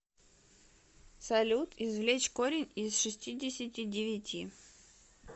салют извлечь корень из шестидесяти девяти